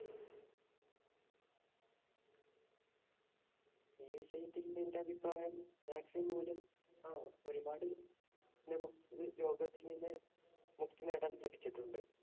എന്‍റെ അഭിപ്രായം vaccine മൂലം ഒരുപാട് നമുക്ക് ഈ രോഗത്തില്‍ നിന്ന് മുക്തി നേടാന്‍ ലഭിച്ചിട്ടുണ്ട്.